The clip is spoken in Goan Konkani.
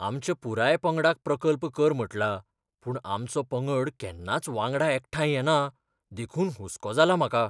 आमच्या पुराय पंगडाक प्रकल्प कर म्हटलां, पूण आमचो पंगड केन्नाच वांगडा एकठांय येना, देखून हुस्को जाला म्हाका.